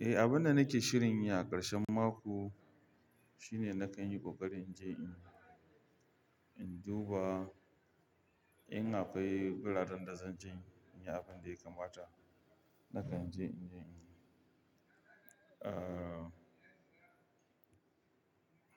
Eh, abin da nake shirin yi a ƙarshen mako shine nakan yi ƙoƙari in je in, in duba in akwai buladun da zan je in yi abin da ya kamata. Nakan je in je in, ah.